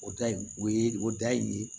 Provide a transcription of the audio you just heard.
O da in o ye o da in ye